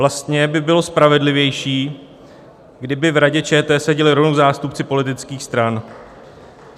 Vlastně by bylo spravedlivější, kdyby v Radě ČT seděli rovnou zástupci politických stran.